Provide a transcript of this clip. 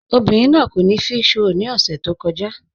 Obìnrin náà kò ní físhròl ni ọ̀ṣẹ̀ tó kọ̀ja